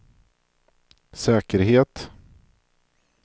säkerhet